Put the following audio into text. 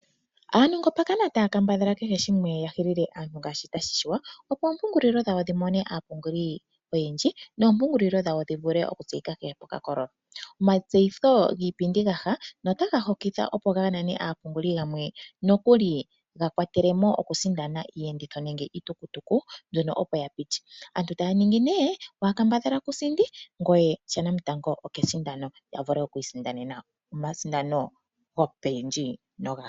Aanongo pakana taya kambadhala kehe shimwe ya hilile aantu ngaashi tashi shiwa, opo oompungulilo dhawo dhi mone aapunguli oyendji noompungulilo dhawo dhi vuke tseyike kehe pokakololo. Omatseyitho giipindi gaha notaga hokitha, opo ga nane aapunguli yamwe. Nokuli ga kwatelemo okusindana iiyenditho nenge iitukutuku mbyono opo ya piti. Aantu taya ningi ne waakambadhala kusindi ngoye shanamitango okesindano ya vule okwiisindanena omasindano gopendji.